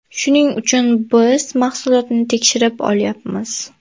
Shuning uchun biz mahsulotni tekshirib olyapmiz.